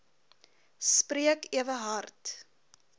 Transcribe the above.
spreek ewe hard